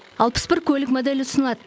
алпыс бір көлік моделі ұсынылады